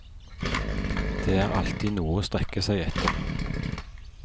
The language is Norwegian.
Det er alltid noe å strekke seg etter.